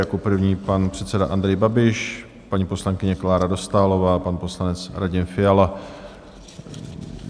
Jako první pan předseda Andrej Babiš, paní poslankyně Klára Dostálová, pan poslanec Radim Fiala.